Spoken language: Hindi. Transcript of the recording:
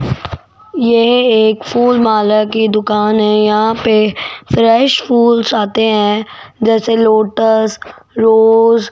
यह एक फूल माला की दुकान है यहां पे फ्रेश फूल जाते हैं जैसे लोटस रोज --